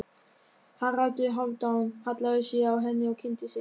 Haraldur Hálfdán hallaði sér að henni og kynnti sig.